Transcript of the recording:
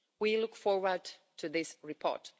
We look forward to this report.